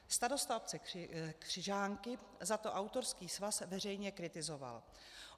Starosta obce Křižánky za to autorský svaz veřejně kritizoval.